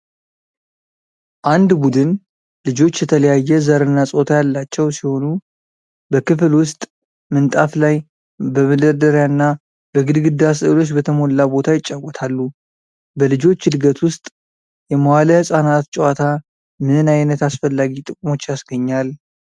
አንድ ቡድን ልጆች የተለያየ ዘርና ፆታ ያላቸው ሲሆኑ፣ በክፍል ውስጥ ምንጣፍ ላይ፣ በመደርደሪያና በግድግዳ ሥዕሎች በተሞላ ቦታ ይጫወታሉ። በልጆች እድገት ውስጥ የመዋለ ሕፃናት ጨዋታ ምን ዓይነት አስፈላጊ ጥቅሞች ያስገኛል?